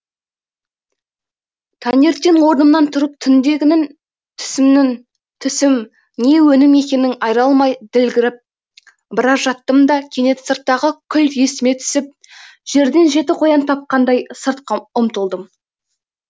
таңертең орнымнан тұрып түндегінің түсім не өңім екенін айыра алмай ділгіріп біраз жаттым да кенет сырттағы күл есіме түсіп жерден жеті қоян тапқандай сыртқа ұмтылдым